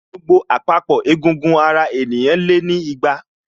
Gbogbo àpapọ̀ egungun ara ènìyàn lé ní igba